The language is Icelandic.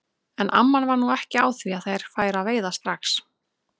En amman var nú ekki á því að þeir færu að veiða strax.